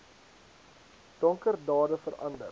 donker dade verander